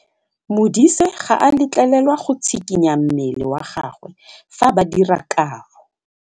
Modise ga a letlelelwa go tshikinya mmele wa gagwe fa ba dira karô.